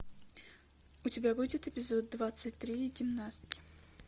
у тебя будет эпизод двадцать три гимнастки